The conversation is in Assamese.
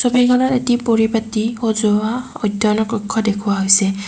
ছবিখনত এটি পৰিপাটী সজোৱা অধ্যয়নৰ কক্ষ দেখুওৱা হৈছে।